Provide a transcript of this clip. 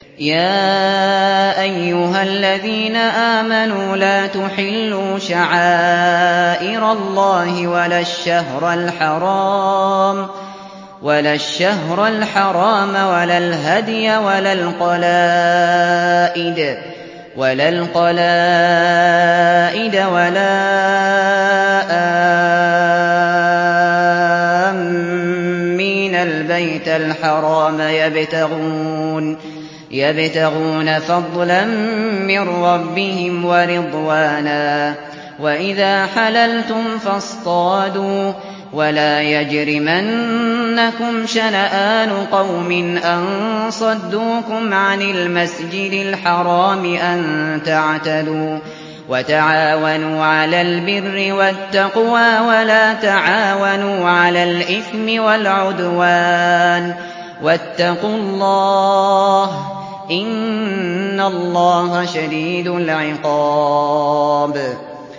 يَا أَيُّهَا الَّذِينَ آمَنُوا لَا تُحِلُّوا شَعَائِرَ اللَّهِ وَلَا الشَّهْرَ الْحَرَامَ وَلَا الْهَدْيَ وَلَا الْقَلَائِدَ وَلَا آمِّينَ الْبَيْتَ الْحَرَامَ يَبْتَغُونَ فَضْلًا مِّن رَّبِّهِمْ وَرِضْوَانًا ۚ وَإِذَا حَلَلْتُمْ فَاصْطَادُوا ۚ وَلَا يَجْرِمَنَّكُمْ شَنَآنُ قَوْمٍ أَن صَدُّوكُمْ عَنِ الْمَسْجِدِ الْحَرَامِ أَن تَعْتَدُوا ۘ وَتَعَاوَنُوا عَلَى الْبِرِّ وَالتَّقْوَىٰ ۖ وَلَا تَعَاوَنُوا عَلَى الْإِثْمِ وَالْعُدْوَانِ ۚ وَاتَّقُوا اللَّهَ ۖ إِنَّ اللَّهَ شَدِيدُ الْعِقَابِ